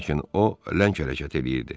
Lakin o ləng hərəkət eləyirdi.